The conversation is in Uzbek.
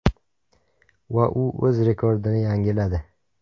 Va u o‘z rekordini yangiladi.